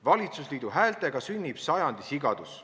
Valitsusliidu häältega sünnib sajandi sigadus.